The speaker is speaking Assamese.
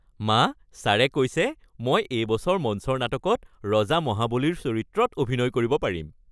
মা, ছাৰে কৈছে মই এইবছৰ মঞ্চৰ নাটকত ৰজা মহাবলীৰ চৰিত্ৰত অভিনয় কৰিব পাৰিম।